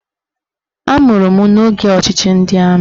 Amụrụ m n'oge ọchịchị ndị amị